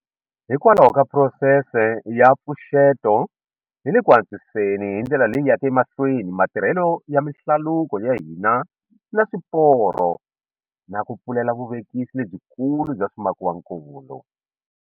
Hikwalaho ka phurosese ya mpfuxeto hi le ku antswiseni hi ndlela leyi yaka emahlweni ma tirhelo ya mihlaluko ya hina na swiporo na ku pfulela vuvekisi lebyikulu bya swimakiwakulu.